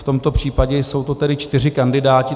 V tomto případě jsou to tedy čtyři kandidáti.